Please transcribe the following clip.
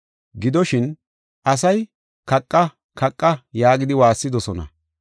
Gidoshin, asay, “Kaqa! Kaqa!” yaagidi waassidosona.